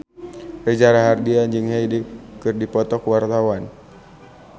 Reza Rahardian jeung Hyde keur dipoto ku wartawan